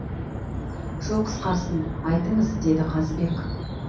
жол қысқарсын айтыңыз деді қазыбек